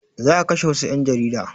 Za a kashe wassu ƴan jarida